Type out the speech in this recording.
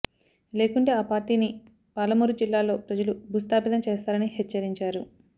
లేకుంటే ఆ పార్టీని పాలమూరు జిల్లాలో ప్రజలు భూస్థాపితం చేస్తారని హెచ్చరించారు